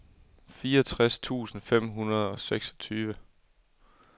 fireogtres tusind fem hundrede og seksogtyve